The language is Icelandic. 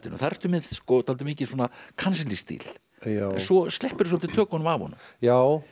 þar ertu með dálítið mikinn svona kansellístíl en svo svolítið tökum af honum já